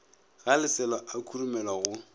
ga leselo a khurumelwa go